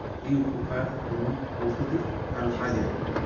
এই উপকার এবং ঔষধি কারুকাজে